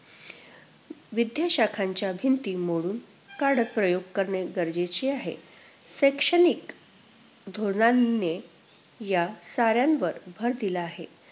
विद्या शाखांच्या भिंती मोडून, कडक प्रयोग करणे गरजेचे आहे. शैक्षणिक धोरणांनी या साऱ्यांवर भर दिला आहे.